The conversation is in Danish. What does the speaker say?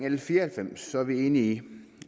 l fire og halvfems er vi enige i